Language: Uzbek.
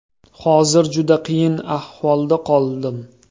Hozir juda qiyin ahvolda qoldim.